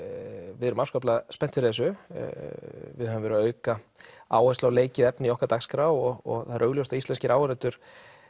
við erum afskaplega spennt fyrir þessu við höfum verið að auka áherslu á leikið efni í okkar dagskrá og það er augljóst að íslenskir áhorfendur